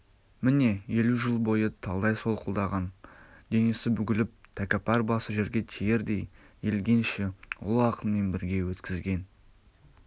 міне елу жыл бойы талдай солқылдаған денесі бүгіліп тәкаппар басы жерге тиердей иілгенше ұлы ақынмен бірге өткізген